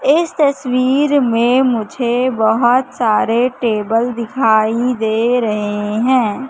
इस तस्वीर में मुझे बहोत सारे टेबल दिखाई दे रहे हैं।